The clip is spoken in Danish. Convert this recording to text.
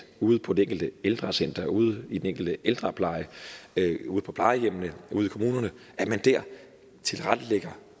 ude på det enkelte ældrecenter ude i den enkelte ældrepleje ude på plejehjemmene og ude i kommunerne tilrettelægger